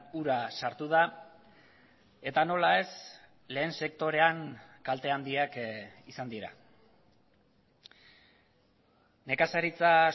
ura sartu da eta nola ez lehen sektorean kalte handiak izan dira nekazaritza